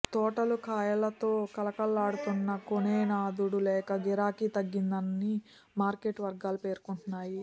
తోటలు కాయలతో కళకళలాడుతున్నా కొనే నాథుడు లేక గిరాకీ తగ్గిందని మార్కెట్ వర్గాలు పేర్కొంటున్నాయి